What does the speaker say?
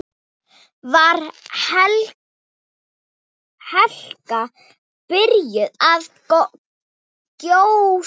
Var Hekla byrjuð að gjósa?